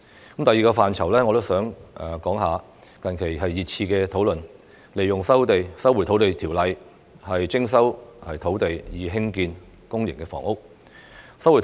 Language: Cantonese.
關於第二個範疇，近日大家熱熾討論引用《收回土地條例》徵收土地以興建公營房屋。